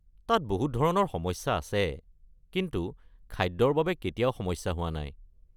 তাত বহুত ধৰণৰ সমস্যা আছে কিন্তু খাদ্যৰ বাবে কেতিয়াও সমস্যা হোৱা নাই!